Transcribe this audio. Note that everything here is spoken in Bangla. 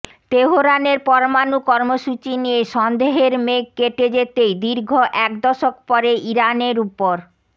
তেহরানের পরমাণু কর্মসূচি নিয়ে সন্দেহের মেঘ কেটে যেতেই দীর্ঘ এক দশক পরে ইরানের উপর